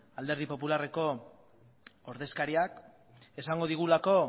alderdi popularreko ordezkariak esango digulako